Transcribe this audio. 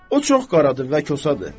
O çox qaradır və kosadır.